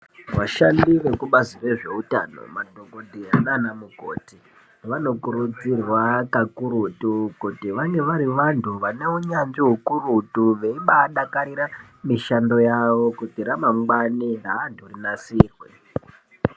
Vashandi vebazi rezveutano madhokoteya nanamukoti ,vanokurudzirwa kakurutu kuti vave vari vantu vaneunyanzvi ukurutu ,veibaadakarire mishando yawo kuti ramangwna reantu rinasirirwe.